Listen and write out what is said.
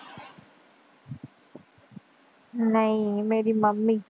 ਨਹੀਂ ਮੇਰੀ ਮੰਮੀ।